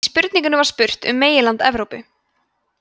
í spurningunni var spurt um meginland evrópu